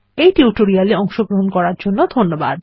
এই টিউটোরিয়াল এ অংশগ্রহন করার জন্য ধন্যবাদ